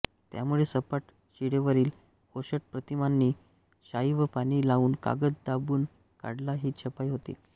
त्यामुळे सपाट शिळेवरील ओशट प्रतिमांना शाई व पाणी लावून कागद दाबून काढला की छपाई होते